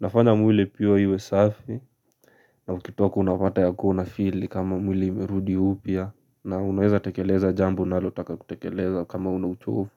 Inafanya mwili pia iwe safi. Na ukitoka unapata yakuwa unafeel nikama mwili imerudi upya na unaweza tekeleza jambo unalotaka kutekeleza kama huna uchovu.